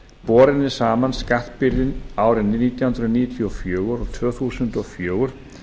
borin er saman skattbyrðin árin nítján hundruð níutíu og fjögur og tvö þúsund og fjögur